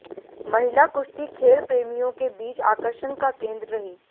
महिला कुश्ती खेल प्रेमियों के बीच आकर्षण का केंद्र रही